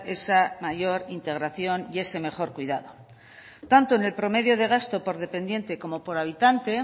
esa mayor integración y ese mejor cuidado tanto en el promedio de gasto por dependiente como por habitante